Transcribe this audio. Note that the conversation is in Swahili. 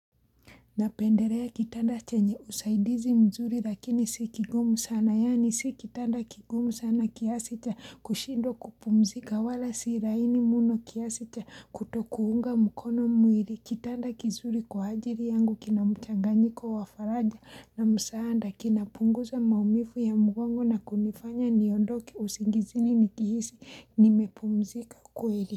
Napendelea kitanda chenye usaidizi mzuri lakini si kigumu sana yani si kitanda kigumu sana kiasi cha kushindwa kupumzika wala si laini mno kiasi cha kutokuunga mkono mwili. Kitanda kizuri kwa ajili yangu kina mchanganyiko wa faraja na msaada kinapunguza maumivu ya mgongo na kunifanya niondoke usingizini nikihisi nimepumzika kweli.